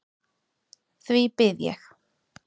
Því bið ég.